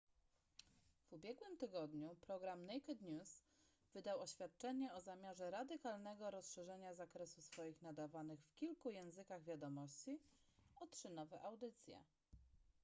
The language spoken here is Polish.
w ubiegłym tygodniu program naked news wydał oświadczenie o zamiarze radykalnego rozszerzenia zakresu swoich nadawanych w kilku językach wiadomości o trzy nowe audycje